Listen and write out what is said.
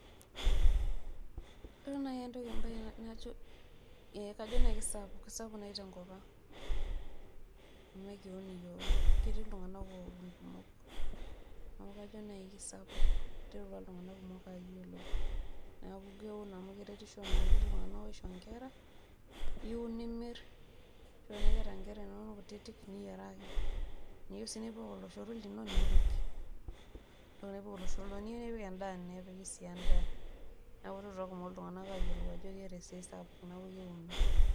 ore nai ebae najo.ee kajo naaji kisapuk. kisapuk naai tenkop ang'.amu ekiun iyiook. ketii iltunganak oun kumok. neku kajo naji kisapuk. iterutua iltunganak kumok aayiolou. neeku keun amu keretisho naa. iterutua iltunganak aisho nkera. iun nimir. ore tenaa iyeta nkera inonok kutitik niyieraki. tenaa iyieu sii nipik oloshoro lino nipik. nepiki sii edaa. neeku iterutua iltungank kumok ayiolou ajo keeta esiai sapuk neeku keuni.